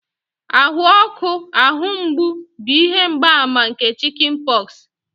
ahụ ọkụ, ahụ mgbu bụ ihe mgbaàmà nke chickenpox